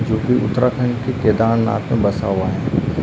जो कि उत्तराखंड के केदारनाथ में बसा हुआ है।